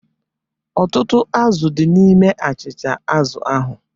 Ọtụtụ azụ̀ di n'ime achịcha azụ̀ ahụ.